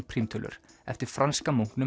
prímtölur eftir franska